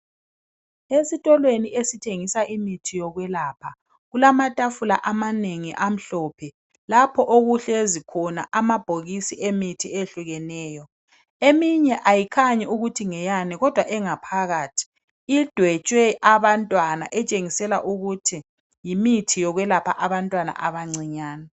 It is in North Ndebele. Esitolweni sokuthrngisa imithi yokwelapha kulamatafula amanengi amhlophe lapha okuhlezi khona amabhokisi emithi ahlukeneyo eminye ayikhanyi ukutji ngeyani kodwa engaphakathi idwetshwe abantwana okutshengisela ukuthi yimithi yokwelapha abantwana abancinyane